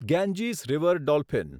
Ganges river dolphin